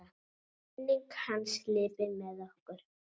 Minning hans lifir með okkur.